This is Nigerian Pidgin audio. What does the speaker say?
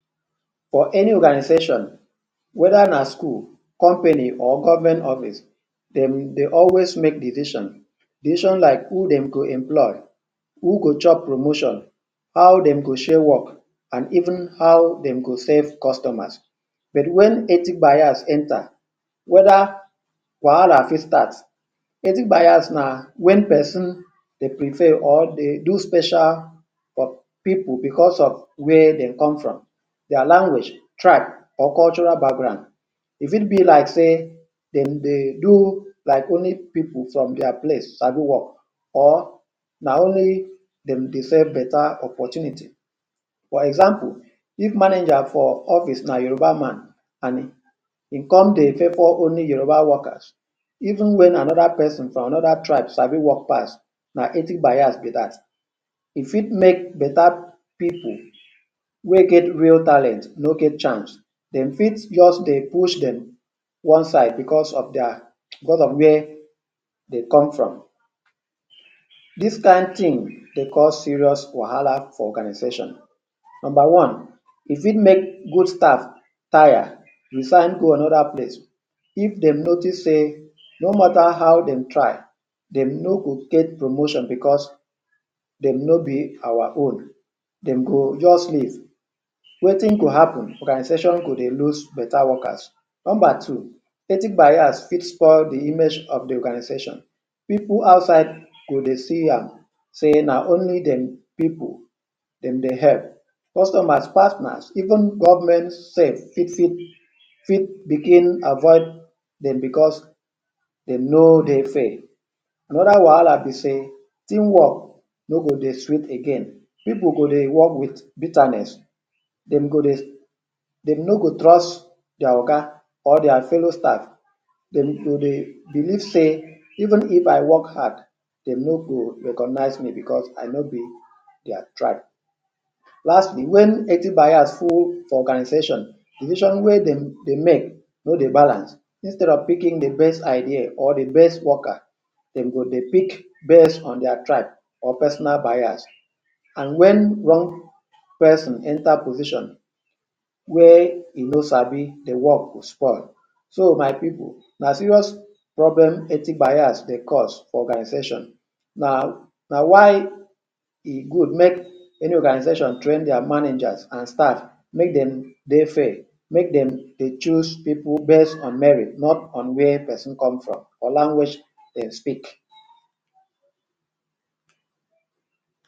For any organization, whether na school, company or government office, dem dey always make decisions decisions like who dem go employ, who go chop promotion, how dem go share work, and even how dem go serve customers. But when ethnic bias enter, whether wahala fit start. Ethnic bias na when person dey prefer or dey do special for people because of where dem come from their language, tribe, or cultural background. E fit be like say dem dey do as if na only people from their place sabi work or na only dem deserve better opportunity. For example, if manager for office na Yoruba man, and e come dey favor only Yoruba workers even when another person from different tribe sabi work pass na ethnic bias be that. E fit make better people wey get real talent no get chance. Dem fit just dey push dem one side because of where dem come from. This kind thing fit cause serious wahala for the organization. Number one: E fit make good staff taya and resign go another place. If dem notice say no matter how dem try, dem no go get promotion because dem no be our own, dem go just leave. Wetin go happen be say the organization go dey lose better workers. Number two: Ethnic bias fit spoil the image of the organization. People outside go dey see am say na only dem people dem dey help. Customers, partners, even government sef fit begin avoid dem because dem no dey fair. Another wahala be say: Teamwork no go dey sweet again. People go dey work with bitterness. Dem no go trust their oga or their fellow staff. Dem go dey believe say, Even if I work hard, dem no go recognize me because I no be their tribe. Lastly: When ethnic bias full for organization, decisions wey dem dey make no dey balance. Instead of picking the best idea or the best worker, dem go dey pick based on tribe or personal interest. And when person wey no sabi the work enter position, the work go spoil. So my people, na serious problem ethnic bias dey cause for organizations. Na why e good make every organization train their managers and staff. Make dem dey fair. Make dem choose people based on merit—not on where person come from or the language wey dem speak.